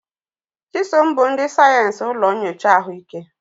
Chisom bụ ndị sayensị ụlọ nyocha ahụike.